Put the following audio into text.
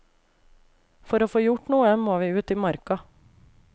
For å få gjort noe, må vi ut i marka.